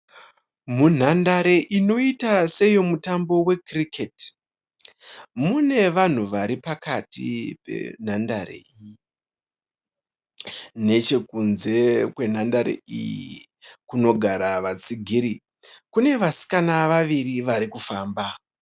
Munhandare inoita seyemutambo wekiriketi. Mune vanhu varipakati penhandare. Nechekudze kwenhandare iyi kunogara vatsigiri, kune vasikana vaviri varikufamba.